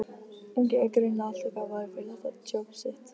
ungi er greinilega alltof gáfaður fyrir þetta djobb sitt.